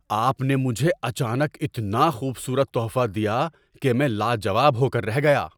آپ نے مجھے اچانک اتنا خوبصورت تحفہ دیا کہ میں لا جواب ہو کر رہ گیا۔